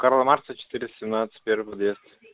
карла маркса четыре семнадцать первый подъезд